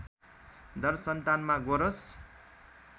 दरसन्तानमा गोरस